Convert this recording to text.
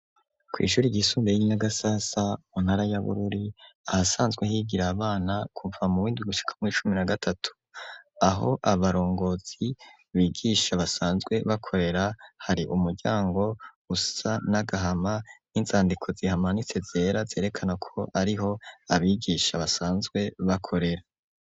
Kw'ishure ry'isumbeye y'inyagasasa mu ntara ya Bururi ahasanzwe higira abana kuva mu windwi gushika mw'icumi na gatatu aho abarongozi bigisha basanzwe bakorera hari umuryango usa n'agahama n'izandiko zihamanitse zera zerekana ko ariho abigisha basanzwe bakorera.